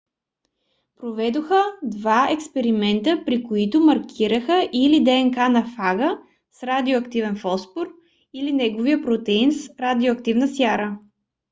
проведоха два експеримента при които маркираха или днк на фага с радиоактивен фосфор или неговия протеин с радиоактивна сяра